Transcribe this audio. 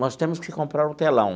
Nós temos que comprar um telão.